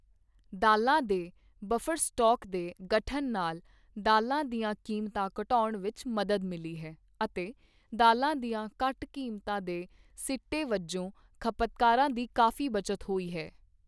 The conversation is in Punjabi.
ਦਾਲ਼ਾਂ ਦੇ ਬਫਰ ਸਟਾਕ ਦੇ ਗਠਨ ਨਾਲ ਦਾਲ਼ਾਂ ਦੀਆਂ ਕੀਮਤਾਂ ਘਟਾਉਣ ਵਿੱਚ ਮਦਦ ਮਿਲੀ ਹੈ ਅਤੇ ਦਾਲ਼ਾਂ ਦੀਆਂ ਘੱਟ ਕੀਮਤਾਂ ਦੇ ਸਿੱਟੇ ਵਜੋਂ ਖਪਤਕਾਰਾਂ ਦੀ ਕਾਫ਼ੀ ਬਚਤ ਹੋਈ ਹੈ।